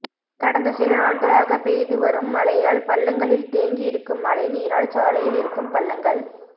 கடந்த சில நாள்களாக பெய்து வரும் மழையால் பள்ளங்களில் தேங்கி இருக்கும் மழை நீரால் சாலையில் இருக்கும் பள்ளங்கள்